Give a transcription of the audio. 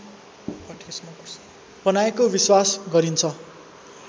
बनाएको विश्वास गरिन्छ